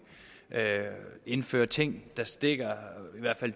indføre ting der stikker